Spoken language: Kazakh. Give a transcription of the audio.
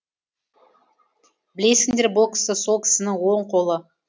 білесіңдер бұл кісі сол кісінің оң қолы